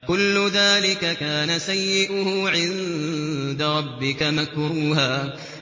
كُلُّ ذَٰلِكَ كَانَ سَيِّئُهُ عِندَ رَبِّكَ مَكْرُوهًا